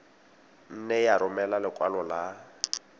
nne ya romela lekwalo la